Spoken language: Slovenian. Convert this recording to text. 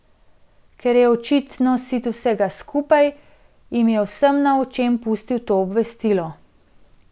Ker je očitno sit vsega skupaj, jim je vsem na očem pustil to obvestilo.